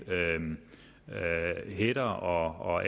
hætter og og